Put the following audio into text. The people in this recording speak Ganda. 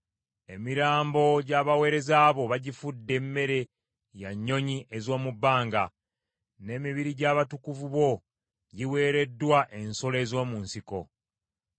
Emirambo gy’abaweereza bo bagifudde mmere ya nnyonyi ez’omu bbanga, n’emibiri gy’abatukuvu bo giweereddwa ensolo ez’omu nsiko.